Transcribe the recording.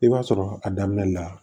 I b'a sɔrɔ a daminɛ la